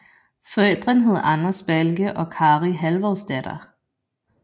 Forældrene hed Anders Balke og Kari Halvorsdatter